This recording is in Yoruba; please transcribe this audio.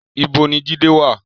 Ibo ni Jide wà?